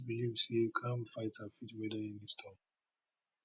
believe say calm fighter fit weather any storm